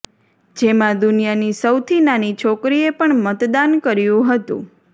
જેમાં દુનિયાની સૌથી નાની છોકરીએ પણ મતદાન કર્યું હતું